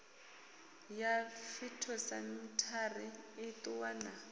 ya phytosamitary i ṱuwa na